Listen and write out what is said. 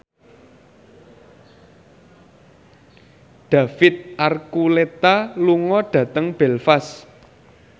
David Archuletta lunga dhateng Belfast